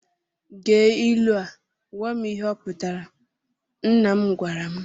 Gee ilu a gwam ihe ọ pụtara, nna m gwara m.